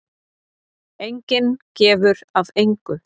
Enginn gefur af engu.